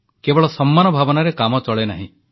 କେବଳ ସମ୍ମାନ ଭାବନାରେ କାମ ଚଳେନାହିଁ